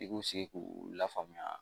I k'u sigi k'u lafaamuya